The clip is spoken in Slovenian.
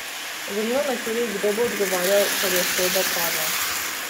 Zanima me tudi, kdo bo odgovarjal, ker je sodba padla?